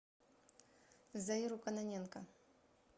заиру кононенко